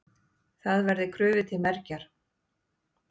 Það verði krufið til mergjar.